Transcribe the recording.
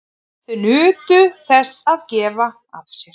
Þau nutu þess að gefa af sér.